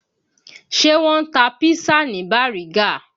Ṣé wọ́n ń ta písà ní Bàrígá?